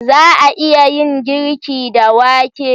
Za a iya yin girki da wake?